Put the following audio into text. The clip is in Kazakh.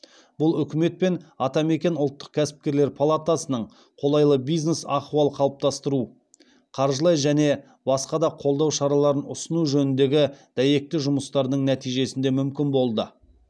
бұл үкімет пен атамекен ұлттық кәсіпкерлер палатасының қолайлы бизнес ахуал қалыптастыру қаржылай және басқа да қолдау шараларын ұсыну жөніндегі дәйекті жұмыстарының нәтижесінде мүмкін болды